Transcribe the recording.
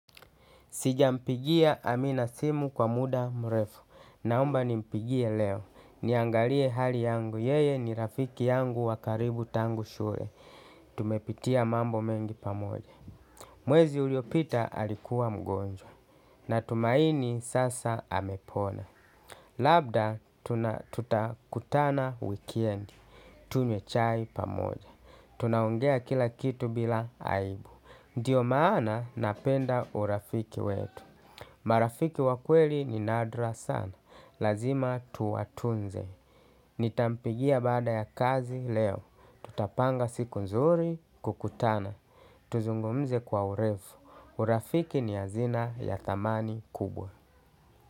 Sijampigia Amina simu kwa muda mrefu. Naomba nimpigie leo. Niangalie hali yangu. Yeye ni rafiki yangu wakaribu tangu shule. Tumepitia mambo mengi pamoja. Mwezi uliopita alikuwa mgonjwa. Natumaini sasa amepona. Labda tuna tutakutana wikendi. Tunywe chai pamoja. Tunaongea kila kitu bila aibu. Ndiyo maana napenda urafiki wetu. Marafiki wakweli ni nadra sana. Lazima tuwatunze. Nitampigia baada ya kazi leo. Tutapanga siku nzuri kukutana. Tuzungumze kwa urefu. Urafiki ni hazina ya thamani kubwa.